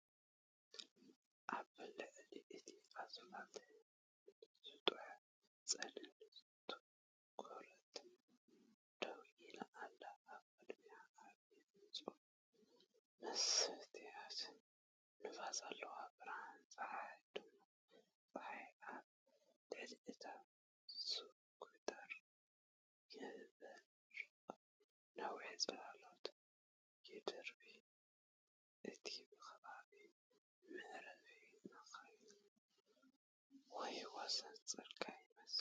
ኣብ ልዕሊ እቲ ኣስፋልት ስሉጥ ጸላም ስኩተር ደው ኢሉ ኣሎ። ኣብ ቅድሚት ዓቢ ንጹር መስትያት ንፋስ ኣለዎ። ብርሃን ጸሓይን ድሙቕ ጸሓይን ኣብ ልዕሊ እታ ስኩተር ይበርቕ፡ ነዊሕ ጽላሎት ይድርቢ=# እቲ ከባቢ መዕረፊ መካይን ወይ ወሰን ጽርግያ ይመስል።